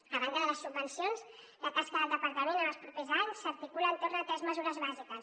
a banda de les subvencions la tasca del departament en els propers anys s’articu·la entorn de tres mesures bàsiques